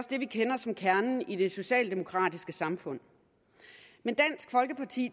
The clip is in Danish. det vi kender som kernen i det socialdemokratiske samfund men dansk folkeparti